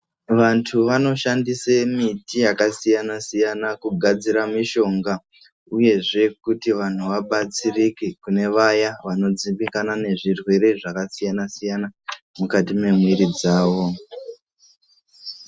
Vantu vanoshandise miti yakasiyana-siyana kugadzira mushonga, uyehe kuti vantu vabatsirike kune nevaya vanodzimbikana nezvirwere zvakasiyana-siyana mukati mwemwiri dzavo.